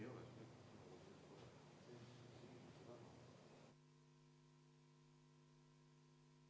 Mulle tundub, et me oleme saanud selle tehnilise probleemi ületatud.